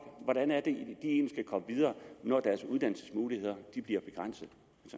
komme videre når deres uddannelsesmuligheder bliver begrænset